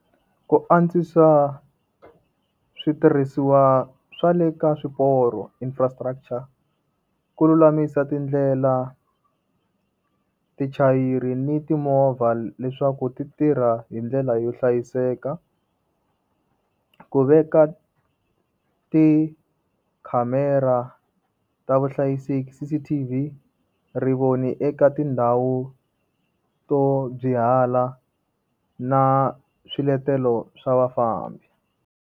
ku antswisa switirhisiwa swa le ka swiporo infrastructure, ku lulamisa tindlela. tichayiri ni timovha leswaku ti tirha hi ndlela yo hlayiseka, ku veka tikhamera ta vuhlayiseki CCTV, rivoni eka tindhawu to byihala na swiletelo swa vafambi.